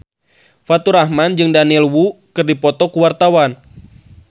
Faturrahman jeung Daniel Wu keur dipoto ku wartawan